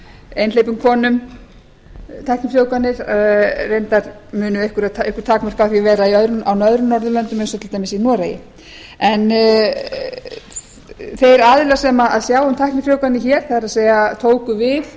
einhleypum konum tæknifrjóvganir raunar munu einhver takmörk vera á því á öðrum norðurlöndum eins og til dæmis í noregi en þeir aðilar sem sjá um tæknifrjóvganir hér það er tóku við